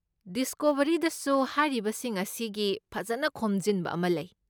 ꯗꯤꯁꯀꯣꯕꯔꯤꯗꯁꯨ ꯍꯥꯏꯔꯤꯕꯁꯤꯡ ꯑꯁꯤꯒꯤ ꯐꯖꯅ ꯈꯣꯝꯖꯤꯟꯕ ꯑꯃ ꯂꯩ꯫